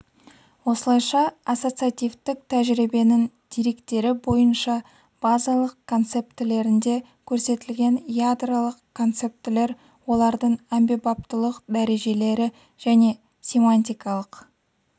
осылайша ассоциативтік тәжірибенің деректері бойынша базалық концептілерінде көрсетілген ядролық концептілер олардың әмбебаптылық дәрежелері және семантикалық